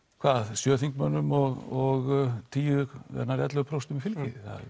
sjö þingmönnum og nær ellefu prósent fylgi